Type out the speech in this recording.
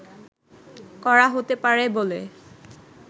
করা হতে পারে বলে